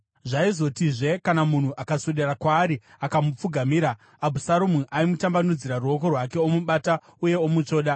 Zvaizotizve, kana munhu akaswedera kwaari akamupfugamira, Abhusaromu aimutambanudzira ruoko rwake, omubata uye omutsvoda.